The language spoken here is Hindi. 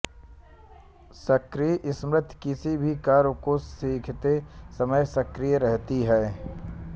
सक्रिय स्मृति किसी भी कार्य को सीखते समय सक्रिय रहती है